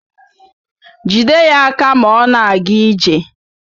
Jide ya aka ma ọ na-aga ije